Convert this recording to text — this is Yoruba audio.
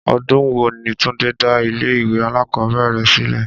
Ọdún wo ni Túndé dá ilé ìwé alákòóbèrè rẹ̀ sílẹ̀?